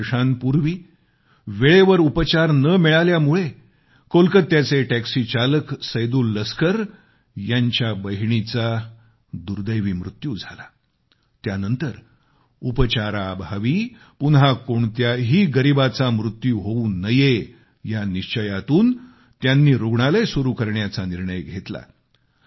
13 वर्षांपूर्वी वेळेवर उपचार न मिळाल्यामुळे कोलकात्याचे टैक्सीचालक सैदुल लस्कर यांच्या बहिणीचा दुर्दैवी मृत्यू झाला त्यानंतर उपचाराअभावी पुन्हा कोणत्याही गरीबाचा मृत्यू होऊ नये या निश्चयातून त्यांनी रुग्णालय सुरु करण्याचा निर्णय घेतला